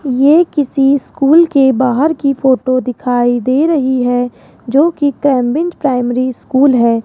यह किसी स्कूल के बाहर की फोटो दिखाई दे रही है जो की कैम्बिन्ज प्राइमरी स्कूल है।